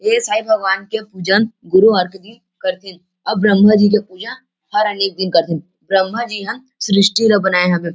ए साईँ भगवान के पूजन गुरुवार के दिन करथे अउ ब्रह्मा जी के पूजा हर अनेक दिन करथे ब्रह्मा जी हाँ सृष्टि ल बनाय हवे ।